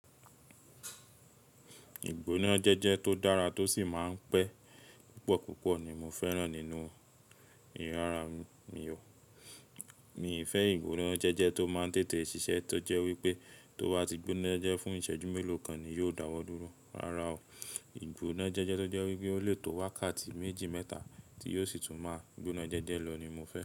Ìgbóná jẹ́jẹ́ tó dára tó sì máa ń pẹ́ púpọ̀púpọ̀ ni mo fẹ́ràn nínú ìrora mi o. Mi ò fẹ́ ìgbóná jẹ́jẹ́ tó máa ń tètè ṣiṣẹ́ tó jẹ́ wípé tó bá ti gbóná jẹ́ fún ìṣẹ́jú mélòó kan ni yóò dáwọ́ dúró. Rárá o. Ìgbóná jẹ́jẹ́ tó jẹ́ wípé ó lè tó wákàtí méjì mẹ́ta tí yóò sì tún máa gbóná jẹ́jẹ́ lọ ni mo fẹ́.